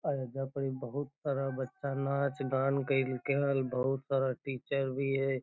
आ एजा पर ही बहुत सारा बच्चा नाच-गान गायल केल बहुत सारा टीचर भी है।